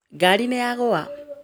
Ngari nĩnyagũa